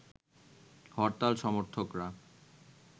হরতাল সমর্থকরা